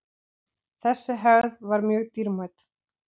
Þessi hefð var mjög dýrmæt.